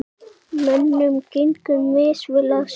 Mönnum gengur misvel að selja.